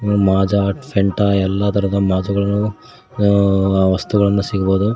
ಉ Maaza Fanta ಎಲ್ಲ ತರದ ಮಾಜ ಗಳನ್ನು ಅ ವಸ್ತುಗಳನ್ನು ಸಿಗಬಹುದು.